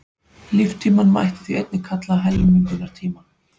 Líftímann mætti því einnig kalla helmingunartíma.